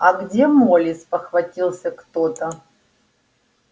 а где молли спохватился кто-то